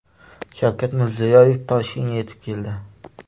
Shavkat Mirziyoyev Toshkentga yetib keldi.